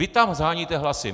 Vy tam sháníte hlasy!